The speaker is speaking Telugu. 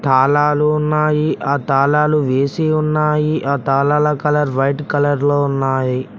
తాళాలు ఉన్నాయి ఆ తాళాలు వేసి ఉన్నాయి ఆ తాళాల కలర్ వైట్ కలర్ లో ఉన్నాయి.